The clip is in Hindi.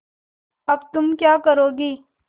अब तुम क्या करोगी